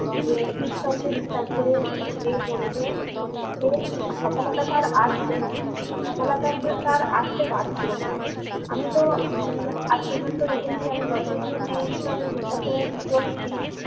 যে ঈশ্বরকে বিশ্বাস করে যে চলবে যে সফলতা তার আসবেই। সফলতা সে~ তার আসতে বাধ্য। আমি তো উম আজ পর্যন্ত দেখেছি যতদিন এই ঈশ্বরের বিশ্বাস করে চলেছি,